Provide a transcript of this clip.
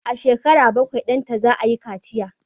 A shekara bakwai, danta za a yi kaciya